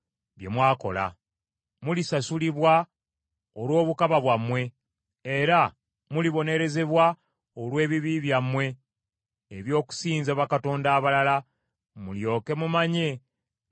Mulisasulibwa olw’obukaba bwammwe, era mulibonerezebwa olw’ebibi byammwe eby’okusinza bakatonda abalala, mulyoke mumanye nga nze Mukama Katonda.”